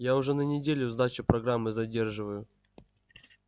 я уже на неделю сдачу программы задерживаю